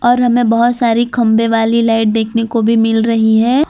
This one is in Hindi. और हमें बहुत सारी खंभे वाली लाइट देखने को भी मिल रही है।